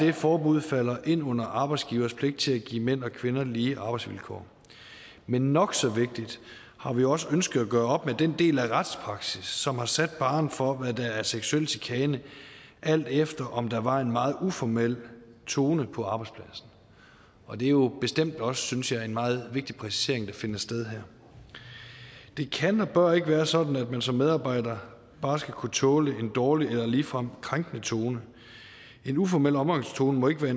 det forbud falder ind under arbejdsgiveres pligt til at give mænd og kvinder lige arbejdsvilkår men nok så vigtigt har vi også ønsket at gøre op med den del af retspraksis som har sat barren for hvad der er seksuel chikane alt efter om der var en meget uformel tone på arbejdspladsen og det er jo bestemt også synes jeg en meget vigtig præcisering der finder sted her det kan og bør ikke være sådan at man som medarbejder bare skal kunne tåle en dårlig eller ligefrem krænkende tone en uformel omgangstone må ikke være